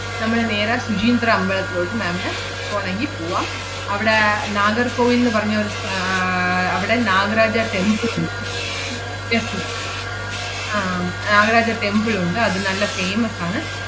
നമ്മള് നേരെ ശുചീന്ദ്രം അമ്പലത്തിലോട്ട് ma'am നെ പോണോങ്കി പൂവാം. അവടെ നാഗർകോവിൽ ~ന്ന് പറഞ്ഞ ഒരു സ്ഥ~ ആഹ് അവടെ നാഗരാജ temple ഉണ്ട്. temple ഉണ്ട്. ആഹ് ~ഗരാജ temple ഒണ്ട്. അത് നല്ല famous ആണ്.